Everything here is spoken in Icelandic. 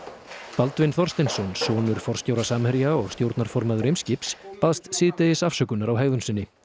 Baldvin Þorsteinsson sonur forstjóra Samherja baðst síðdegis afsökunar á hegðun sinni